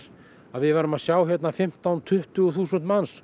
að við værum að sjá hérna fimmtán til tuttugu þúsund manns